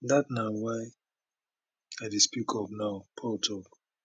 dat na why i dey speak up now paul tok